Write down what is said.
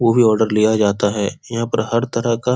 कोई भी आर्डर लिया जाता है यहां पे हर तरह का --